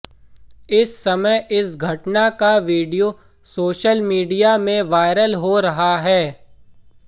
इस समय इस घटना का वीडियो सोशल मीडिया में वायरल हो रहा है